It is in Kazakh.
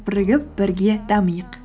бірігіп бірге дамиық